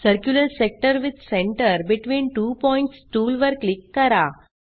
circular sector with centre between two points tool वर click करा